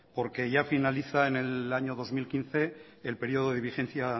porque ya finaliza en el año dos mil quince el periodo de vigencia